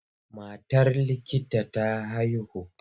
Matar likita ta haihu.